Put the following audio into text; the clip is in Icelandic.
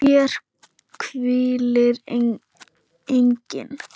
HÉR HVÍLIR ENGINN